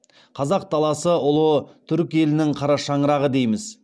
қазақ даласы ұлы түрік елінің қара шаңырағы дейміз